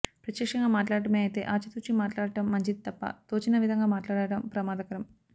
ప్రత్యక్షంగా మాట్లాడడమే అయితే ఆచితూచి మాట్లాడడం మంచిది తప్ప తోచిన విధంగా మాట్లాడడం ప్రమాదకరం